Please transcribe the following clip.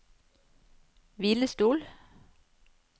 hvilestol